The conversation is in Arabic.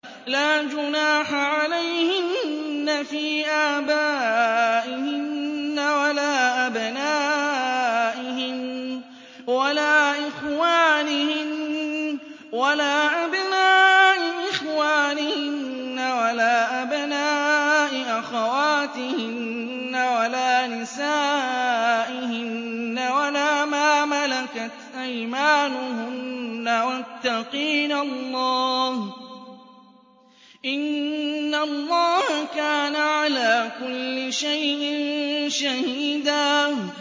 لَّا جُنَاحَ عَلَيْهِنَّ فِي آبَائِهِنَّ وَلَا أَبْنَائِهِنَّ وَلَا إِخْوَانِهِنَّ وَلَا أَبْنَاءِ إِخْوَانِهِنَّ وَلَا أَبْنَاءِ أَخَوَاتِهِنَّ وَلَا نِسَائِهِنَّ وَلَا مَا مَلَكَتْ أَيْمَانُهُنَّ ۗ وَاتَّقِينَ اللَّهَ ۚ إِنَّ اللَّهَ كَانَ عَلَىٰ كُلِّ شَيْءٍ شَهِيدًا